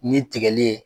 Ni tigɛli ye